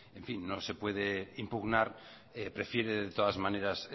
no se puede impugnar prefiere de todas maneras